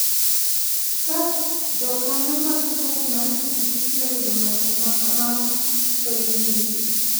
Ka jokanyo mag chadi mar pikipiki oyudo ng'ato ma kamano to inege.